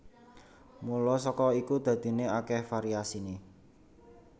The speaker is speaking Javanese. Mula saka iku dadiné akèh variasiné